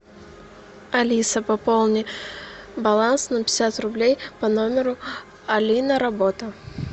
алиса пополни баланс на пятьдесят рублей по номеру алина работа